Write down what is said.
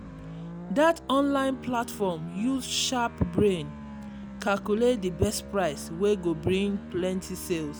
that online platform use sharp brain calculate the best price wey go bring plenty sales.